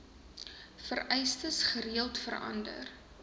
vereistes gereeld verander